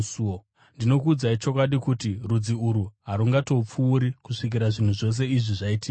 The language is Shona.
Ndinokuudzai chokwadi kuti rudzi urwu harungatongopfuuri kusvikira zvinhu zvose izvi zvaitika.